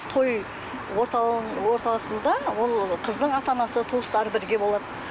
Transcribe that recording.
той ортасында ол қыздың ата анасы туыстары бірге болады